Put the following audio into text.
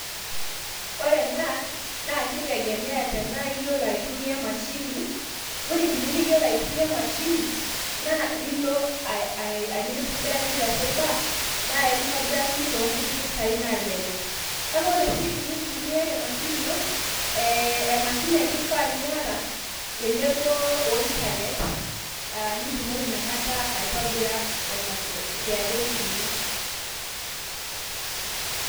Ore ena naa kitegemea tenaa iyiolo aitumiya emashini, ore tenimiyiolo aitumia emashini naa nilo aa mikintobirakini te cyber naa enkitobirakini too nkutik pisai naalelek. Kake ore sii tenaa iyata emashini ino, ee emashini ake eifaa niyata tenebo o internet. Aaa nitumoki ina kata aitobira aa ema KRA pin ino.